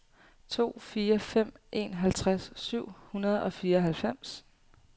to fire fem en halvtreds syv hundrede og fireoghalvfems